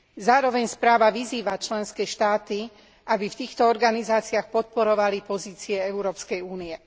Zároveň správa vyzýva členské štáty, aby v týchto organizáciách podporovali pozície Európskej únie.